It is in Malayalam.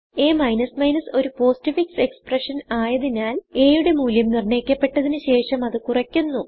അ ഒരു പോസ്റ്റ്ഫിക്സ് എക്സ്പ്രഷൻ ആയതിനാൽ a യുടെ മൂല്യം നിർണയിക്കപ്പെട്ടതിന് ശേഷം അത് കുറയ്ക്കുന്നു